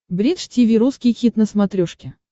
бридж тиви русский хит на смотрешке